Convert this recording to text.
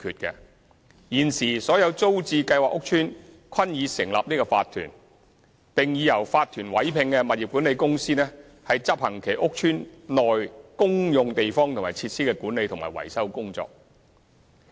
現時所有租置計劃屋邨均已成立法團，並已由法團委聘的物業管理公司執行其屋邨內公用地方和設施的管理及維修工作。